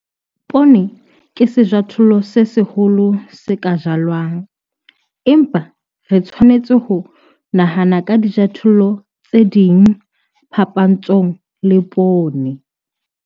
Poone ke sejothollo se seholo se ka jalwang, empa re tshwanetse ho nahana ka dijothollo tse ding phapantshong le poone.